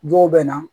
Dɔw bɛ na